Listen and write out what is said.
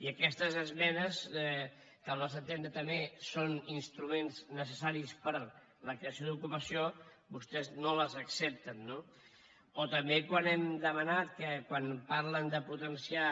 i aquestes esmenes que al nostre entendre també són instruments necessaris per a la creació d’ocupació vostès no les accepten no o també quan hem demanat quan parlen de potenciar